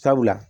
Sabula